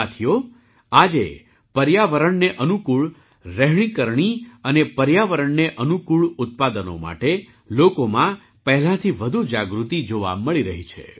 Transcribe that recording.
સાથીઓ આજે પર્યાવરણને અનુકૂળ રહેણીકરણી અને પર્યાવરણને અનુકૂળ ઉત્પાદનો માટે લોકોમાં પહેલાંથી વધુ જાગૃતિ જોવા મળી રહી છે